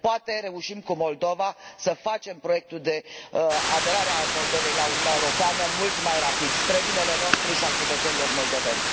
Poate reușim cu Moldova, să facem proiectul de aderare al Moldovei la Uniunea Europeană mult mai rapid, spre binele nostru și al cetățenilor moldoveni.